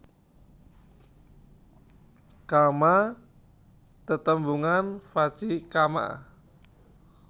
Kamma tetembungan vaci kamma